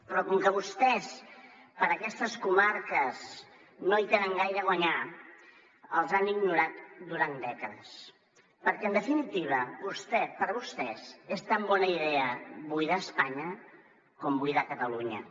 però com que vostès per aquestes comarques no hi tenen gaire a guanyar les han ignorat durant dècades perquè en definitiva per vostès és tan bona idea buidar espanya com buidar catalunya